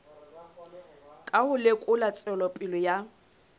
ka ho lekola tswelopele ya